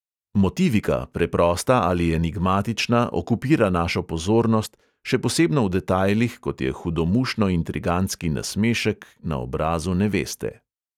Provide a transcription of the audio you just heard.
Motivika, preprosta ali enigmatična, okupira našo pozornost, še posebno v detajlih, kot je hudomušno-intrigantski nasmešek na obrazu neveste.